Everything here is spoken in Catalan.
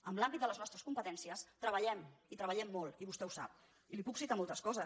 en l’àmbit de les nostres competències treballem i treballem molt i vostè ho sap i li puc citar moltes coses